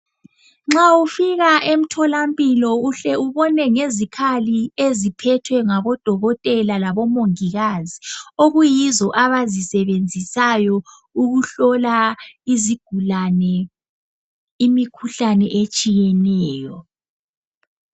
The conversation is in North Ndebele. Nxa ufika emtholampilo uhle ubone ngezikhali eziphethwe ngabodokotela labomongikazi okuyizo abazisebenzisayo ukuhlola izigulane imikhuhlane etshiyeneyo.